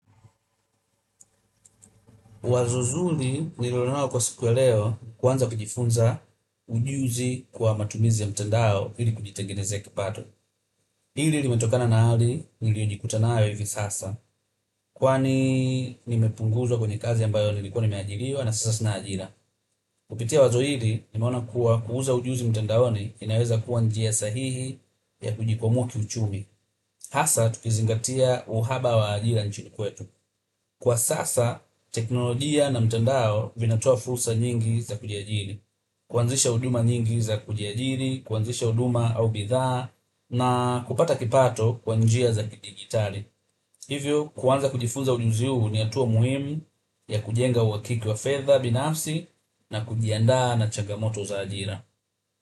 Wazo zuri nililonalo kwa siku ya leo kuanza kujifunza ujuzi kwa matumizi ya mtandao ili kujitengenezea kipato. Hili limetokana na hali niliyojikuta nayo hivi sasa. Kwani nimepunguzwa kwenye kazi ambayo nilikuwa nimeajiriwa na sasa sina ajira. Kupitia wazo hili, nimeona kuwa kuuza ujuzi mtandaoni inaweza kuwa njia sahihi ya kujikwamua kiuchumi. Hasa, tukizingatia uhaba wa ajira nchini kwetu. Kwa sasa, teknolojia na mtandao vinatoa fursa nyingi za kujiajiri, kuanzisha huduma nyingi za kujiajiri, kuanzisha huduma au bidhaa, na kupata kipato kwa njia za kidigitali. Hivyo, kuanza kujifunza ujuzi huu ni hatua muhimu ya kujenga uwakiki wa fedha binafsi na kujiandaa na changamoto za ajira.